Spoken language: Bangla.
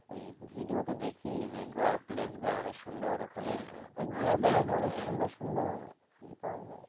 এই video তে দেখি যে গোয়ার place গুলা অনেক সুন্দর ওখানে সুন্দর সুন্দর পাওয়া যাই